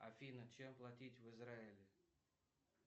афина чем платить в израиле